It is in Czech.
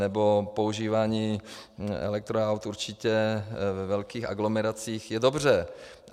Nebo používání elektroaut určitě ve velkých aglomeracích je dobře.